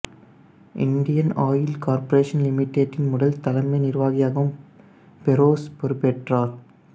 Indian oil corporation லிமிட்டடின் முதல் தலைமை நிர்வாகியாகவும் ஃபெரோஸ் பொறுப்பேற்றார்